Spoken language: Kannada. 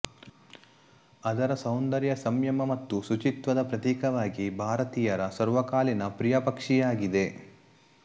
ಅದರ ಸೌಂದರ್ಯ ಸಂಯಮ ಮತ್ತು ಶುಚಿತ್ವದ ಪ್ರತೀಕವಾಗಿ ಭಾರತೀಯರ ಸರ್ವಕಾಲೀನ ಪ್ರಿಯ ಪಕ್ಷಿಯಾಗಿದೆ